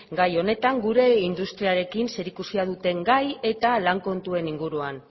gai honetan gure industriarekin zerikusia duten gai eta lan kontuen inguruan